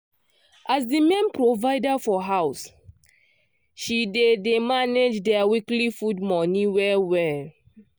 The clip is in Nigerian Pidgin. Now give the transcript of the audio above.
as the main provider for house she dey dey manage their weekly food money well well.